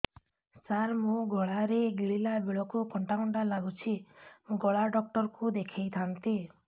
ସାର ମୋ ଗଳା ରେ ଗିଳିଲା ବେଲେ କଣ୍ଟା କଣ୍ଟା ଲାଗୁଛି ଗଳା ଡକ୍ଟର କୁ ଦେଖାଇ ଥାନ୍ତି